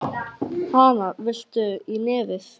Hana, viltu í nefið?